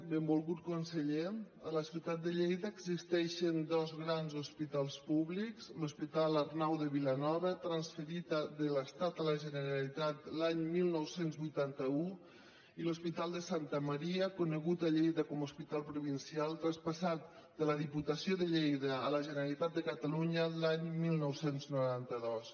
benvolgut conseller a la ciutat de lleida existeixen dos grans hospitals públics l’hospital arnau de vilanova transferit de l’estat a la generalitat l’any dinou vuitanta u i l’hospital de santa maria conegut a lleida com a hospital provincial traspassat de la diputació de lleida a la generalitat de catalunya l’any dinou noranta dos